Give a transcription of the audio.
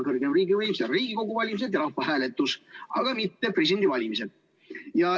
Kõrgem riigivõim osaleb Riigikogu valimistel ja rahvahääletusel, aga mitte presidendivalimistel.